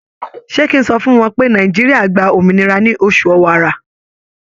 Ṣé kí n sọ fún wọn pé Nàìjíríà gba òmìnira ní oṣù Ọ̀wàrà?